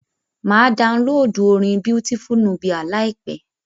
Máa downloadu orin Beautiful Nubia láìpẹ́.